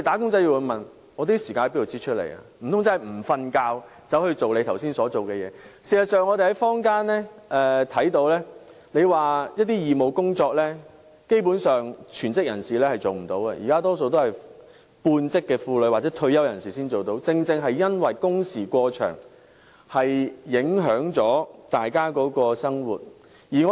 事實上，我們看到基本上全職人士無法參與坊間的一些義務工作，而現時能參與的大多是半職婦女或退休人士，正正因為工時過長而影響了大家的生活。